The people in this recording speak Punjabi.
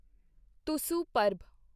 ਤੁਸੂ ਪਰਬ